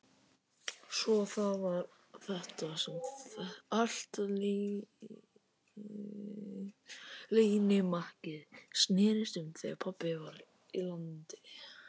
Svo það var þetta sem allt leynimakkið snerist um þegar pabbi var í landi.